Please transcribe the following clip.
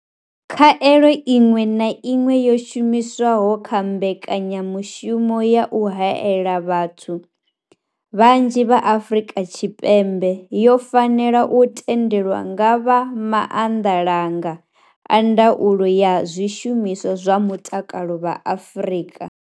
Khaelo iṅwe na iṅwe yo shumiswaho kha mbekanya mushumo ya u haela vhathu vhanzhi Afrika Tshipembe yo fanela u tendelwa nga vha Maanḓalanga a Ndaulo ya Zwishumiswa zwa Mutakalo vha Afrika.